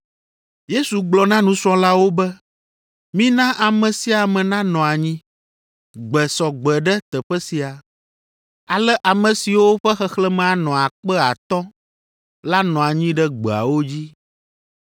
Yesu gblɔ na nusrɔ̃lawo be, “Mina ame sia ame nanɔ anyi.” Gbe sɔ gbɔ ɖe teƒe sia. Ale ame siwo ƒe xexlẽme anɔ akpe atɔ̃ (5,000) la nɔ anyi ɖe gbeawo dzi.